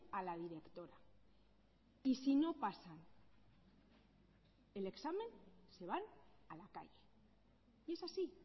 a la directora y si no pasan el examen se van a la calle y es así